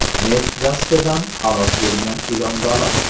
Neft dastidan halok bo‘lgan ilonbaliq.